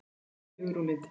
Þín systir Hugrún Lind.